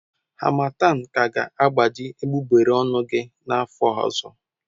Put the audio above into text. Harmattan ka ga-agbaji egbugbere ọnụ gị n'afọ ọzọ.